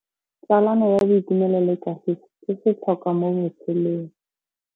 Tsalano ya boitumelo le kagiso ke setlhôkwa mo botshelong.